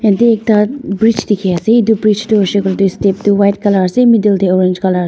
ite ekta bridge dikhi ase itu bridge toh huishey kuile tu step tu white colour ase middle deh orange colour .